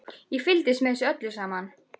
Ég fylgdist með þessu öllu saman.